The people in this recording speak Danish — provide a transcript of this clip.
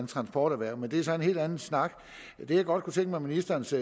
transporterhverv men det er så en helt anden snak det jeg godt kunne tænke mig ministerens